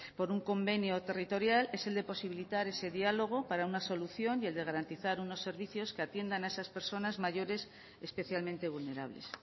por un convenio territorial es el de posibilitar ese diálogo para una solución y el de garantizar unos servicios que atiendan a esas personas mayores especialmente vulnerables